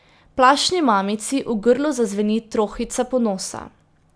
Plašni mamici v grlu zazveni trohica ponosa.